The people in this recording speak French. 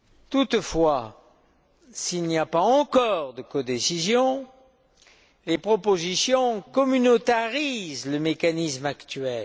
Toutefois, s'il n'y a pas encore de codécision, les propositions communautarisent le mécanisme actuel.